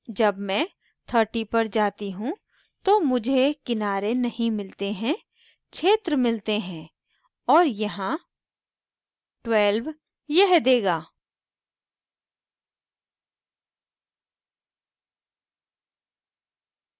जब मैं 30 पर जाती हूँ तो मुझे किनारे नहीं मिलते हैं क्षेत्र मिलते हैं और यहाँ 12 यह देगा